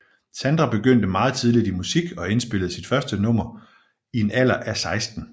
Sandra begyndte meget tidligt i musik og indspillede sit første nummer i en alder af 16